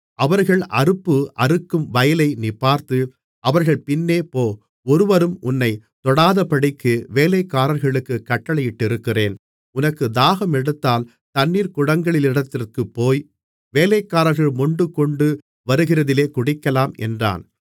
அவர்கள் அறுப்பு அறுக்கும் வயலை நீ பார்த்து அவர்கள் பின்னே போ ஒருவரும் உன்னைத் தொடாதபடிக்கு வேலைக்காரர்களுக்குக் கட்டளையிட்டிருக்கிறேன் உனக்குத் தாகம் எடுத்தால் தண்ணீர்க்குடங்களிடத்திற்குப் போய் வேலைக்காரர்கள் மொண்டுகொண்டு வருகிறதிலே குடிக்கலாம் என்றான்